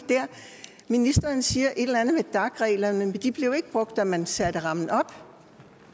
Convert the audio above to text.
ministeren siger et eller andet om dac reglerne men de blev jo ikke brugt da man satte rammen op